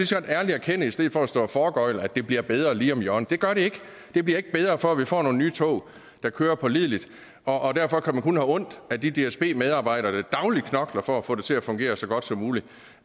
så godt ærligt erkende i stedet for at stå og foregøgle at det bliver bedre lige om hjørnet det gør det ikke det bliver ikke bedre før vi får nogle nye tog der kører pålideligt og derfor kan man kun have ondt af de dsb medarbejdere der dagligt knokler for at få det til at fungere så godt som muligt